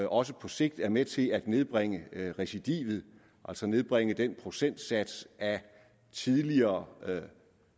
også på sigt er med til at nedbringe recidivet altså nedbringe den procentsats af tidligere